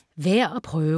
Værd at prøve: